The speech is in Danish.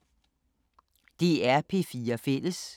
DR P4 Fælles